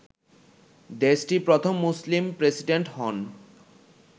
দেশটির প্রথম মুসলিম প্রেসিডেন্ট হন